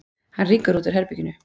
Hann rýkur út úr herberginu.